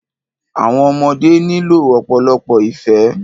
Àwọn ọmọdé nílò ọ̀pọ̀lọpọ̀ ìfẹ́.